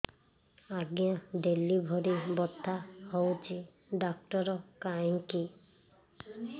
ଆଜ୍ଞା ଡେଲିଭରି ବଥା ହଉଚି ଡାକ୍ତର କାହିଁ କି